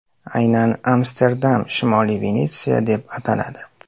Aynan Amsterdam Shimoliy Venetsiya deb ataladi.